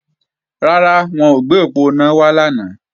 Rárá, wọn ò gbé òponá wá lánàá